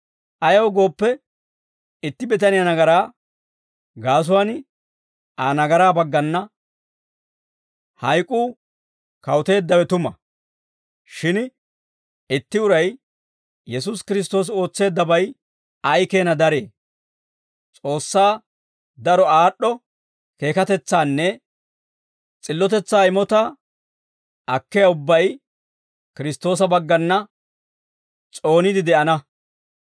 Ayaw gooppe, itti bitaniyaa nagaraa gaasuwaan, Aa nagaraa baggana, hayk'uu kawuteeddawe tuma; shin itti uray, Yesuusi Kiristtoosi ootseeddabay ay keena daree; S'oossaa daro aad'd'o keekatetsaanne s'illotetsaa imotaa akkiyaa ubbay Kiristtoosa baggana s'ooniide de'ana.